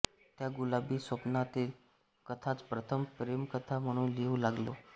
त्या गुलाबी स्वप्नातील कथाच प्रथम प्रेमकथा म्हणून लिहू लागलो